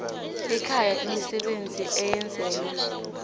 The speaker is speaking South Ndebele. ekhaya imisebenzi eyenzelwa